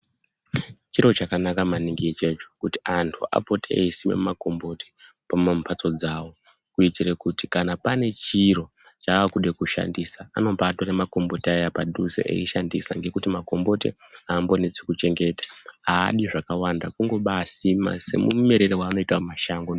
Chiro chakanaka maningi ichocho kuti anhu apote eisime makomboti pamambatso dzavo kuitere kuti kana pane chiro chaakuda kushandisa anobatora makomboti aya padhuze nekuti makomboti ambonetsi kuchengeta adi zvakawanda kumbeisima semumerere anoita mumashango.